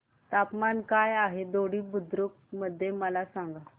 तापमान काय आहे दोडी बुद्रुक मध्ये मला सांगा